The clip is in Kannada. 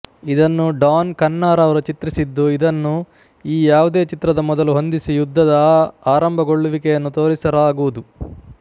ಇದನ್ನು ಡಾನ್ ಖನ್ನಾರವರು ಚಿತ್ರಿಸಿದ್ದು ಇದನ್ನು ಈ ಯಾವುದೇ ಚಿತ್ರದ ಮೊದಲು ಹೊಂದಿಸಿ ಯುದ್ಧದ ಆರಂಭಗೊಳ್ಳುವಿಕೆಯನ್ನು ತೋರಿಸಲಾಗುವುದು